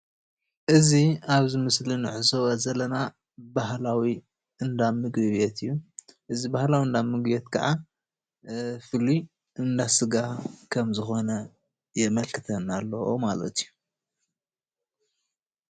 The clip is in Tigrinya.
እዙይ ኣብዚ ምስሊ እንዕዞቦ ዘለና ባህላዊ እንዳ ምግቢ ቤት እዩ። እዚ ባህላዊ እንዳምግቤት ከዓ ፍሉይ እንዳሰጋ ከሞ ዝኾነ የመልክተና ኣሎ ማለት እዩ።